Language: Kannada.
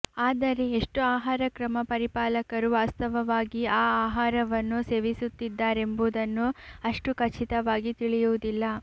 ಆದರೆ ಎಷ್ಟು ಆಹಾರಕ್ರಮ ಪರಿಪಾಲಕರು ವಾಸ್ತವವಾಗಿ ಆ ಆಹಾರವನ್ನು ಸೇವಿಸುತ್ತಿದ್ದಾರೆಂಬುದನ್ನು ಅಷ್ಟು ಖಚಿತವಾಗಿ ತಿಳಿಯುವುದಿಲ್ಲ